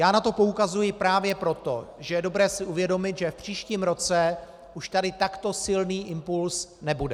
Já na to poukazuji právě proto, že je dobré si uvědomit, že v příštím roce už tady takto silný impuls nebude.